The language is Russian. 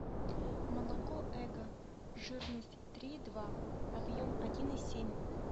молоко эго жирность три и два объем один и семь